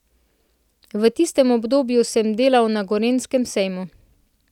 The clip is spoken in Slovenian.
V tistem obdobju sem delal na Gorenjskem sejmu ...